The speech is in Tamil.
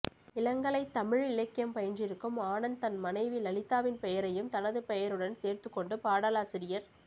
இளங்கலைத் தமிழ் இலக்கியம் பயின்றிருக்கும் ஆனந்த் தன் மனைவி லலிதாவின் பெயரையும் தனது பெயருடன் சேர்த்துக் கொண்டு பாடலாசிரியர்